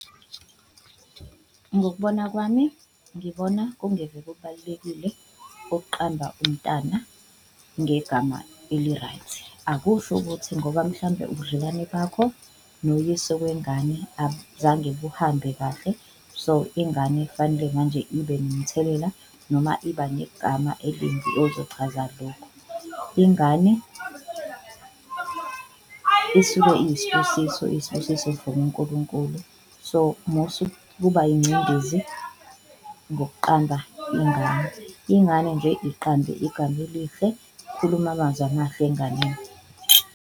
Ngokubona kwami, ngibona kungeve kubalulekile okuqamba umntana ngegama eli-right, akusho ukuthi ngoba mhlambe ubudlelwane bakho noyise wengane abuzange buhambe kahle so, ingane fanele manje ibe nomthelela noma iba negama elimbi ozochaza lokho. Ingane isuke iyisibusiso, iyisibusiso from uNkulunkulu so musa ukuba yingcindezi nokuqamba ingane, ingane nje iqambe igama elihle ukhulume amazwi amahle enganeni.